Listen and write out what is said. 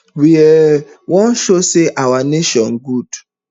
we um wan show say our nation good